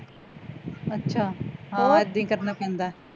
ਅੱਛਾ ਹਾਂ ਏਦੀ ਕਰਨਾ ਪੈਂਦਾ